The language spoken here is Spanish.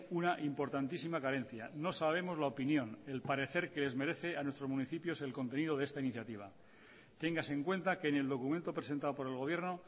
una importantísima carencia no sabemos la opinión el parecer que les merecen a nuestros municipios el contenido de esta iniciativa téngase en cuenta que en el documento presentado por el gobierno